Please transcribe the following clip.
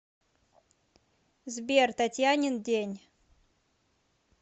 сбер татьянин день